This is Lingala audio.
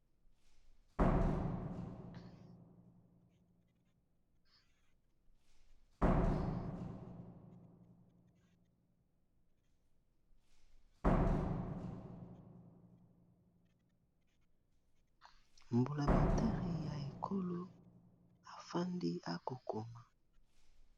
Mbulamatari ya ekolo afandi akokoma